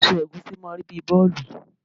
Èso ẹ̀gúsí máà ń rí bíi bọ́ọ̀lù